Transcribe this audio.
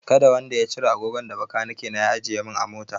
Kada wanda ya cire agogon da bakaniki na ya ajiye min a mota!